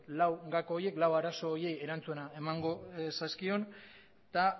lau gako horiek lau arazo horiei erantzuna emango zaizkion eta